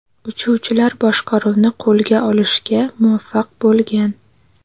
Uchuvchilar boshqaruvni qo‘lga olishga muvaffaq bo‘lgan.